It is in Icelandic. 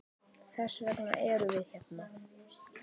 Þess vegna erum við hérna!